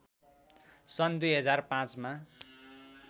सन् २००५ मा